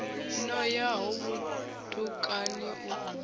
no ya ho vhutukani u